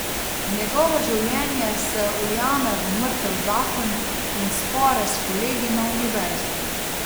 Njegovo življenje se ujame v mrtev zakon in spore s kolegi na univerzi.